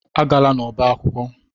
Agala n'ọba akwụkwọ.